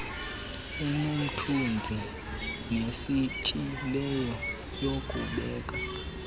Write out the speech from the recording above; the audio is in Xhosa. enomthunzi nesithileyo yokubeka